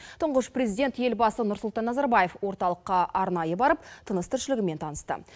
тұңғыш президент елбасы нұрсұлтан назарбаев орталыққа арнайы барып тыныс тіршілігімен танысты